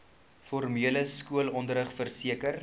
formele skoolonderrig verseker